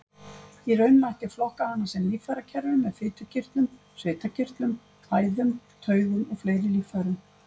Í raun mætti flokka hana sem líffærakerfi með fitukirtlum, svitakirtlum, æðum, taugum og fleiri líffærum.